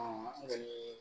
an kɔni